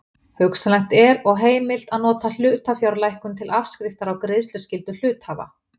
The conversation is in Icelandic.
Hugsanlegt er og heimilt að nota hlutafjárlækkun til afskriftar á greiðsluskyldu hluthafa.